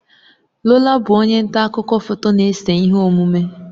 Lola bụ onye nta akụkọ foto na-ese ihe omume.